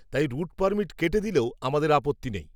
তাই route permit কেটে দিলেও আমাদের আপত্তি নেই